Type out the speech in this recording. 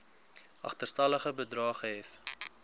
agterstallige bedrae gehef